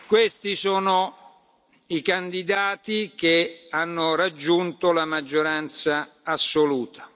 voti. Eletta. Questi sono i candidati che hanno raggiunto la maggioranza